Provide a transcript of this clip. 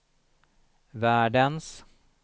världens